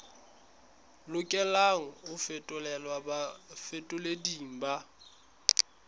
lokelang ho fetolelwa bafetoleding ba